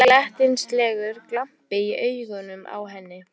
Það var glettnislegur glampi í augunum á henni.